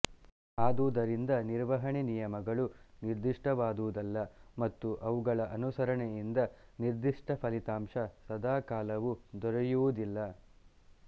ಆದುದರಿಂದ ನಿರ್ವಹಣೆ ನಿಯಮಗಳು ನಿರ್ದಿಷ್ಟವಾದುವಲ್ಲ ಮತ್ತು ಅವುಗಳ ಅನುಸರಣೆಯಿಂದ ನಿರ್ಧಿಷ್ಟ ಫಲಿತಾಂಶ ಸದಾಕಾಲವು ದೊರೆಯುವುದಿಲ್ಲ